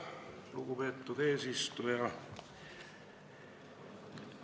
Lugupeetud eesistuja!